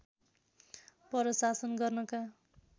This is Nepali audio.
पर शासन गर्नका